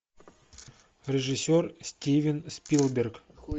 режиссер стивен спилберг